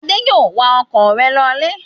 Adé yóò wa ọkọ̀ rẹ̀ lọlé!